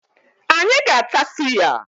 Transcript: Anyị ga-ata suya.